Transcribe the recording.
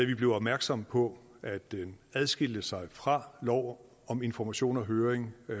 vi blev opmærksomme på at det adskilte sig fra lov om information og høring af